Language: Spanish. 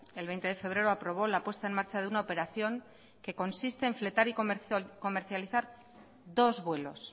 el veinte de febrero aprobó la puesta en marcha de una operación que consiste en fletar y comercializar dos vuelos